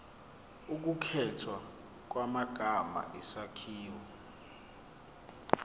ukukhethwa kwamagama isakhiwo